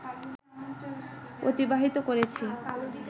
অতিবাহিত করেছি